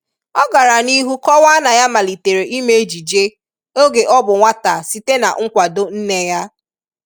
Ọ gara n’ịhụ kọwaa na ya malịtere ịme ejịje ọge ọ bụ nwata sịte na nkwadọ nne ya.